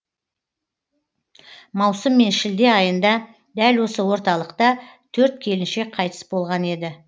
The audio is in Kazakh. маусым мен шілде айында дәл осы орталықта төрт келіншек қайтыс болған еді